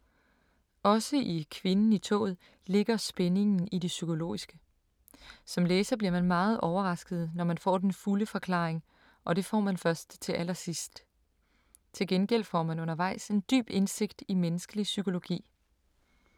Også i Kvinden i toget ligger spændingen i det psykologiske. Som læser bliver man meget overrasket, når man får den fulde forklaring, og det får man først til allersidst. Til gengæld får man undervejs en dyb indsigt i menneskelig psykologi.